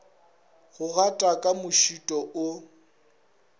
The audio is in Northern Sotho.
go gata ka mošito o